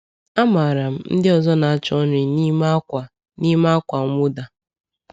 Amaara m ndị ọzọ na-achọ nri n’ime ákwà n’ime ákwà mwụda.